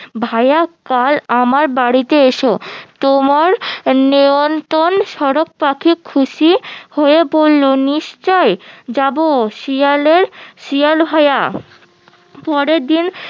ভাইয়া কাল আমার বাড়িতে এসো তোমার নিমন্ত্র সারস পাখি খুশি হয়ে বললো নিশ্চই যাবো শিয়ালের শিয়াল ভাইয়া পরের দিন